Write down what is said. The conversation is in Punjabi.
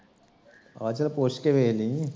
ਆਹ ਚੱਲ ਪੁੱਛ ਕੇ ਵੇਖ ਲਈ